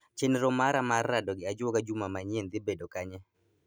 Chenro mar rado gi ajuoga juma manyien dhi bedo kanye